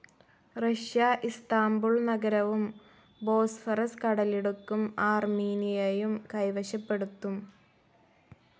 Russia Istanbul നഗരവും ബോസ്ഫറസ് കടലിടുക്കും ആർമീനിയയും കൈവശപ്പെടുത്തും.